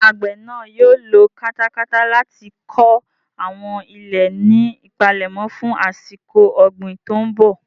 Ṣé àgbè náà yóò lo katakata láti kọ àwọn ilẹ̀ ní ìpalẹ̀mọ́ fún àsìkò ọ̀gbìn tó ń bọ̀?